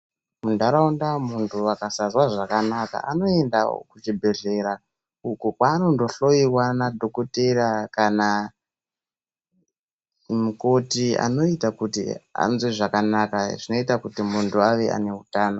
Muntaraunda munthu akasazwa zvakanaka anoendawo kuchibhedhlera uko kwaanondohloyoyiwa na dhokotera kana mukoti anoita kuti munthu anzwe zvakanaka zvinoita kuti ave ane utano.